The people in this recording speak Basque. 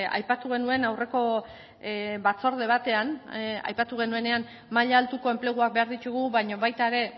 aipatu genuen aurreko batzorde batean aipatu genuenean maila altuko enpleguak behar ditugu baina baita ere